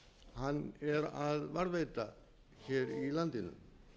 hann er að varðveita hér í landinu